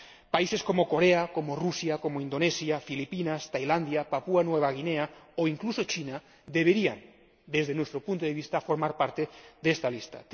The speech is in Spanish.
Países como Corea, Rusia, Indonesia, Filipinas, Tailandia, Papúa Nueva Guinea o incluso China deberían, desde nuestro punto de vista, formar parte de esta lista.